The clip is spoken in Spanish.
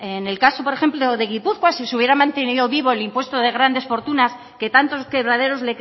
en el caso por ejemplo de gipuzkoa si se hubiera mantenido vivo el impuesto de grandes fortunas que tantos quebraderos